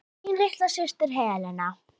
Þín litla systir, Helena.